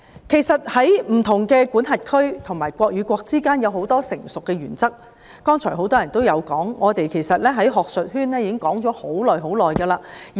其實，在不同的司法管轄區及國與國之間有很多成熟的原則，剛才很多議員都有提到，我們在學術界亦已討論了很長時間。